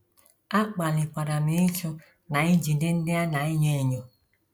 A kpalikwara m ịchụ na ijide ndị a na - enye enyo. ”